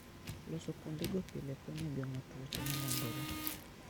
Loso kuondego pile konyo e geng'o tuoche ma landore.